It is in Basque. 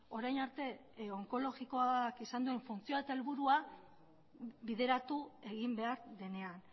orain arte onkologikoak izan duen funtzioa eta helburua bideratu egin behar denean